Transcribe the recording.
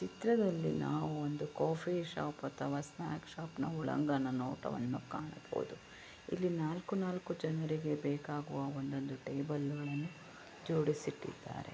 ಈ ಚಿತ್ರದಲ್ಲಿ ನಾವು ಒಂದು ಕಾಫಿ ಶಾಪ್ ಅಥವಾ ಸ್ನಾಕ್ಸ್ ಶಾಪ್ ಒಳಾಂಗಣ ನೋಟವನ್ನು ಕಾಣಬಹುದು ಇಲ್ಲಿ ನಾಲ್ಕು ನಾಲ್ಕು ಜನರಿಗೆ ಬೇಕಾಗುವ ಒಂದೊಂದು ಟೇಬಲ್ ಗಳನ್ನು ಜೋಡಿಸಿ ಇಟ್ಟಿದ್ದಾರೆ.